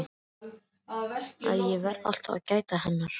Að ég verði alltaf að gæta hennar.